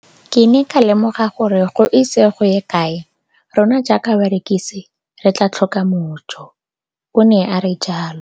Ke ne ka lemoga gore go ise go ye kae rona jaaka barekise re tla tlhoka mojo, o ne a re jalo.